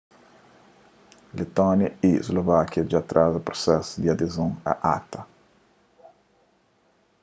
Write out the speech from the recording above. letónia y slovákia dja atraza prusesu di adezon a acta